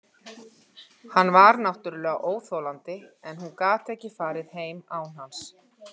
Hann var náttúrlega óþolandi en hún gat ekki farið heim án hans.